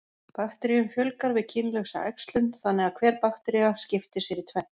Bakteríum fjölgar við kynlausa æxlun, þannig að hver baktería skiptir sér í tvennt.